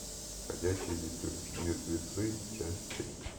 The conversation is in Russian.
ходячие мертвецы часть три